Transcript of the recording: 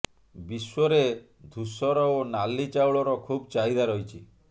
ବିଶ୍ୱରେ ଧୂଷର ଓ ନାଲି ଚାଉଳର ଖୁବ୍ ଚାହିଦା ରହିଛି